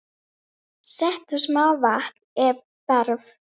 Settu smá vatn ef þarf.